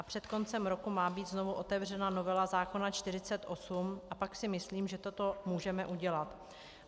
A před koncem roku má být znovu otevřena novela zákona 48 a pak si myslím, že toto můžeme udělat.